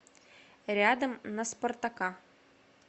рядом на спартака